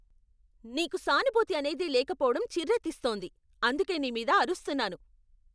నీకు సానుభూతి అనేదే లేకపోవడం చిర్రెత్తిస్తోంది, అందుకే నీమీద అరుస్తున్నాను.